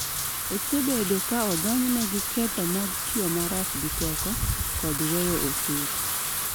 Osebedo ka odonjne gi ketho mag tiyo marach gi teko, kod weyo osuru.